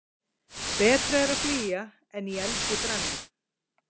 Betra er að flýja en í eldi brenna.